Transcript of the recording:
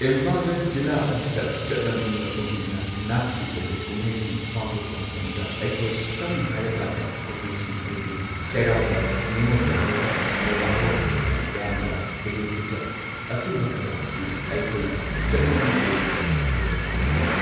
Imphal west ꯖꯤꯂꯥ ꯑꯁꯤꯗ ꯆꯠꯅꯕꯤ ꯃꯇꯨꯡ ꯏꯟꯅ ꯅꯥꯠꯀꯤ ꯑꯣꯏꯕ ꯀꯨꯝꯍꯩꯁꯤꯡ ꯄꯥꯡꯊꯣꯛꯄ ꯃꯇꯝꯗ ꯑꯩꯈꯣꯏ ꯁꯝꯅ ꯍꯥꯏꯔꯀꯥꯟꯗ ꯀꯨꯝꯃꯩꯁꯤꯡ ꯑꯗꯨꯗꯤ ꯆꯩꯔꯥꯎꯕ ꯅꯤꯉꯣꯜ ꯆꯥꯛꯀꯧꯕ ꯃꯦꯔꯥ ꯍꯧꯆꯣꯡꯕ ꯔꯥꯝꯖꯥꯟ ꯏꯗꯨ ꯐꯤꯇꯔ ꯑꯁꯨꯝꯕ ꯀꯌꯥ ꯑꯁꯤ ꯑꯩꯈꯣꯏꯅ ꯆꯠꯅꯕꯤ ꯑꯣꯏꯅ ꯊꯧꯔꯝ ꯄꯥꯡꯊꯣꯛꯏ꯫